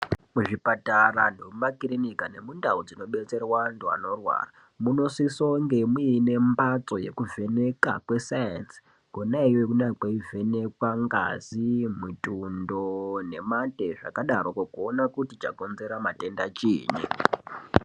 Muzvipatara nemumakirinika nemundau dzinobetserwa antu anorwara munosisonge muine mbatso yekuvheneka kwesayenzi kona iyoyo kune kweivhenekwa ngazi , mutundo nemate zvakadaroko kuona kuti chakonzera matenda chiinyi .